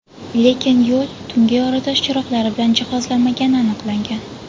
Lekin yo‘l tungi yoritish chiroqlari bilan jihozlanmagani aniqlangan.